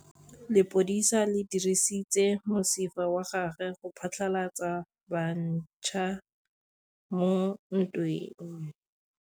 Lepodisa le dirisitse mosifa wa gagwe go phatlalatsa batšha mo ntweng.